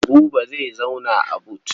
Buba zai zauna a but.